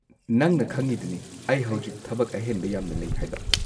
ꯅꯪꯅ ꯈꯪꯉꯤꯗꯨꯅꯤ ꯑꯩ ꯍꯧꯖꯤꯛ ꯊꯕꯛ ꯑꯍꯦꯟꯕ ꯌꯥꯝꯅ ꯂꯩ ꯍꯥꯏꯕ꯫